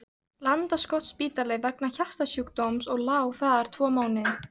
Landakotsspítala vegna hjartasjúkdóms og lá þar tvo mánuði.